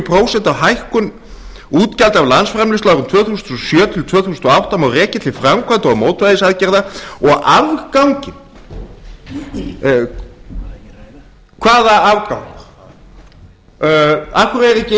prósent af hækkun útgjalda af landsframleiðslu frá árinu tvö þúsund og sjö til tvö þúsund og átta má rekja til framkvæmda og mótvægisaðgerða og afganginn hvaða afgang af hverju er